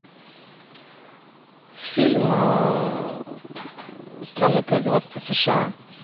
фильм страны производства сша